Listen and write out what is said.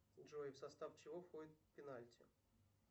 джой в состав чего входит пенальти